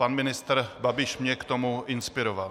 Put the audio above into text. Pan ministr Babiš mě k tomuto inspiroval.